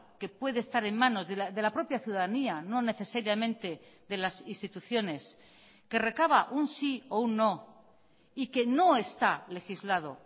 que puede estar en manos de la propia ciudadanía no necesariamente de las instituciones que recaba un sí o un no y que no está legislado